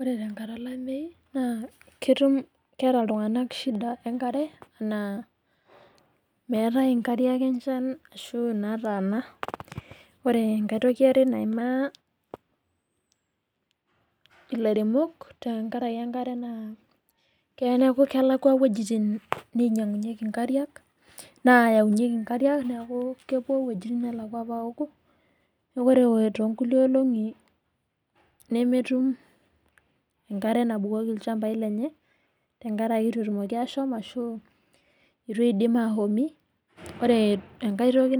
Ore tenkata olameyu naa ketum keeta iltung'ana shida enkare naa meetae nkariak enchan shuu nataana ore enkae toki yare naaimaa ilairemok tenkaraki enkare naa keya neeku kelakuwa wuejitin niinyiang'unyiki naayaunyeki nkariak neeku keluo wuejitin neelakua aayau nkariak neeku ore too nkulie olong'i nemetum enkare naabukoki ilchambai lenye ore enkae toki